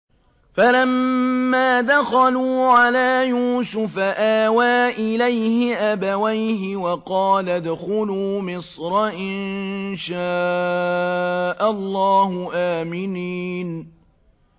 فَلَمَّا دَخَلُوا عَلَىٰ يُوسُفَ آوَىٰ إِلَيْهِ أَبَوَيْهِ وَقَالَ ادْخُلُوا مِصْرَ إِن شَاءَ اللَّهُ آمِنِينَ